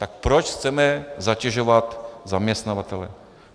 Tak proč chceme zatěžovat zaměstnavatele?